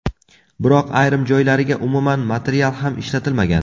Biroq ayrim joylariga umuman material ham ishlatilmagan.